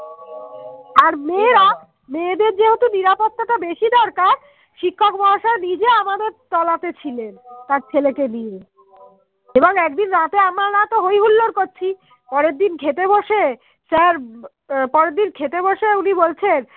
শিক্ষক মহাশয়ে নিজে আমাদের তোলা তে ছিলেন তার ছেলে কে নিয়ে এবং একদিন রাতে আমার আর আমরা হয় হুল্লোড় করছি পরের দিন খেতে বসে স্যার পরের দিন খেতে বসে উনি বলছেন